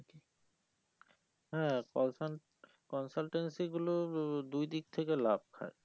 হ্যাঁ colsun consultancy গুলো দুই দিক থেকে লাভ খায়